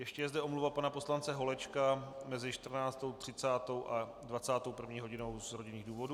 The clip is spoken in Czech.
Ještě je zde omluva pana poslance Holečka mezi 14.30 a 21. hodinou z rodinných důvodů.